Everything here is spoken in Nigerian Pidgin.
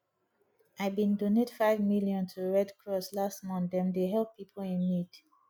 i bin donate five million to red cross last month dem dey help pipo in need